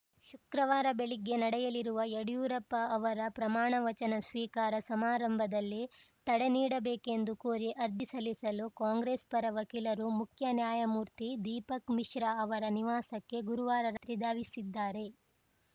ಶುಕ್ರವಾರ ಬೆಳಿಗ್ಗೆ ನಡೆಯಲಿರುವ ಯಡಿಯೂರಪ್ಪ ಅವರ ಪ್ರಮಾಣ ವಚನ ಸ್ವೀಕಾರ ಸಮಾರಂಭದಲ್ಲಿ ತಡೆ ನೀಡಬೇಕೆಂದು ಕೋರಿ ಅರ್ಜಿ ಸಲ್ಲಿಸಲು ಕಾಂಗ್ರೆಸ್‌ ಪರ ವಕೀಲರು ಮುಖ್ಯ ನ್ಯಾಯಮೂರ್ತಿ ದೀಪಕ್‌ ಮಿಶ್ರಾ ಅವರ ನಿವಾಸಕ್ಕೆ ಗುರುವಾರ ರಾತ್ರಿ ಧಾವಿಸಿದ್ದಾರೆ